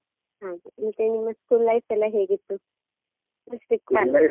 ಹಾಗೆ, ಮತ್ತೆ ನಿಮ್ಮ school life ಎಲ್ಲಾ ಹೇಗಿತ್ತು .